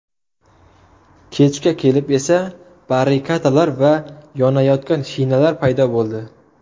Kechga kelib esa barrikadalar va yonayotgan shinalar paydo bo‘ldi.